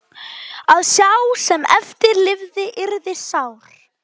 Að sá sem eftir lifði yrði sár.